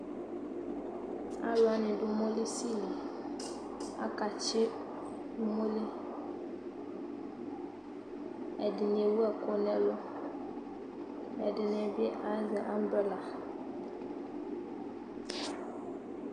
Alu wane do umolisi liAlatse umoli ɛdene ewu ɛku nɛlu Ɛdene be azɛ ambrela